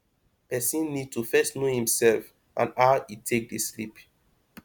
person need to first know im self and how e take dey sleep